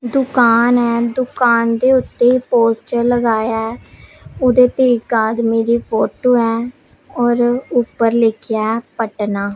ਦੁਕਾਨ ਹੈ ਦੁਕਾਨ ਦੇ ਉੱਤੇ ਪੋਸਟਰ ਲਗਾਇਆ ਹੈ ਓਹਦੇ ਤੇ ਇੱਕ ਆਦਮੀ ਦੀ ਫੋਟੋ ਹੈ ਔਰ ਊਪਰ ਲਿੱਖਿਆ ਪਟਨਾਂ।